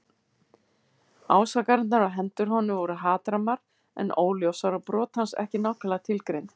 Ásakanirnar á hendur honum voru hatrammar en óljósar og brot hans ekki nákvæmlega tilgreind.